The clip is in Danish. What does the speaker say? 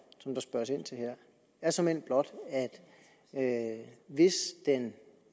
som der spørges ind til her er såmænd blot at hvis den